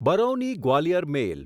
Barauni Gwalior મેલ